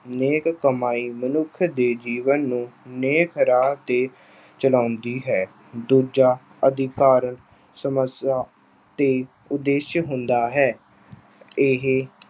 ਨੇਕ ਕਮਾਈ ਮਨੁੱਖ ਦੇ ਜੀਵਨ ਨੂੰ ਨੇਕ ਰਾਹ 'ਤੇ ਚਲਾਉਂਦੀ ਹੈ। ਦੂਜਾ , ਸਮੱਸਿਆ ਤੇ ਉਦੇਸ਼ ਹੁੰਦਾ ਹੈ। ਇਹ